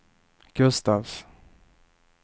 Gustafs